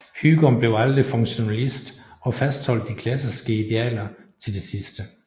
Hygom blev aldrig funktionalist og fastholdt de klassiske idealer til det sidste